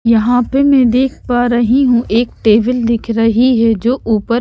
यहाँ पे मैं देख पा रही हूं एक टेबल दिख रही है जो ऊपर--